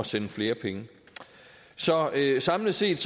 sende flere penge så samlet set